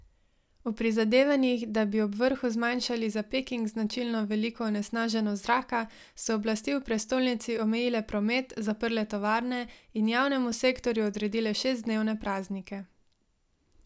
V prizadevanjih, da bi ob vrhu zmanjšali za Peking značilno veliko onesnaženost zraka, so oblasti v prestolnici omejile promet, zaprle tovarne in javnemu sektorju odredile šestdnevne praznike.